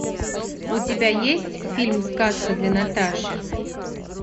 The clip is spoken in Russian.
у тебя есть фильм сказка для наташи